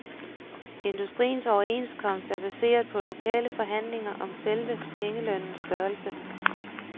Industriens overenskomst er baseret på lokale forhandlinger om selve pengelønnens størrelse.